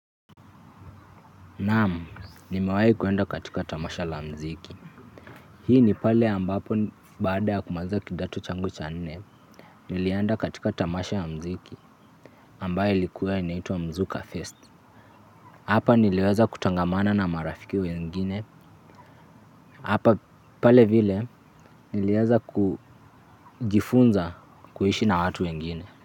Naam, nimewahi kuenda katika tamasha la muziki. Hii ni pale ambapo baada ya kumaliza kidato changu cga nane, nilienda katika tamasha la muziki ambalo lilikuwa linaitwa Mzuka Fest. Hapa niliweza kutangamana na marafiki wengine. Hapa pale vile niliweza kujifunza kuishi na watu wengine.